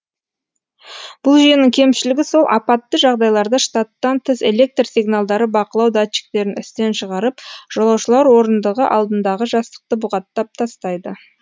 бұл жүйенің кемшілігі сол апатты жағдайларда штаттан тыс электр сигналдары бақылау датчиктерін істен шығарып жолаушылар орындығы алдындағы жастықты бұғаттап тастайды